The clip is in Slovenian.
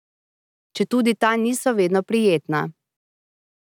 Četudi ta niso vedno prijetna.